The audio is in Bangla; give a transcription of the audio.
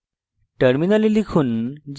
terminal লিখুন